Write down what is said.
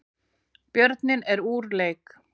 Björninn er úr leik